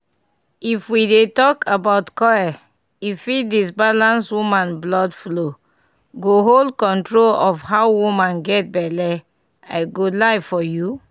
if we dey talk about coil e fit disbalance woman blood flow--go hold control of how woman get belle i go lie for you